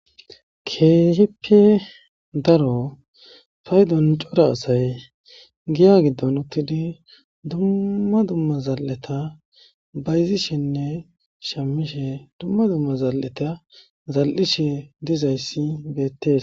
Keehippe daro faydon cora asay giya giddon uttidi dumma dumma zal7eta bayzishenne shamishe dumma dumma zal7eta zal7ishe dizayssi beettees.